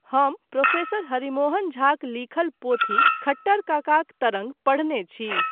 हम प्रोफेसर हरिमोहनझाक लिखल पोथी 'खट्टर् काकाक तरङ्ग' पढ़ने छी।